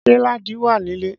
Ṣé Ladi wà nílé